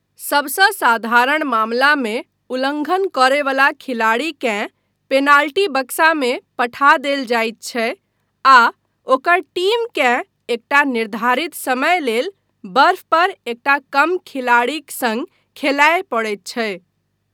सभसँ साधारण मामलामे उल्लङ्घन करयवला खिलाड़ीकेँ पेनाल्टी बक्सामे पठा देल जायत छै आ ओकर टीमकेँ एकटा निर्धारित समय लेल बर्फ पर एकटा कम खिलाड़ीक सङ्ग खेलाय पड़ैत छै।